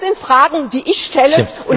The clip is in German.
Das sind Fragen, die ich stelle.